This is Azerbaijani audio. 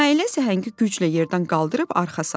Nailə səhəngi güclə yerdən qaldırıb arxa saldı.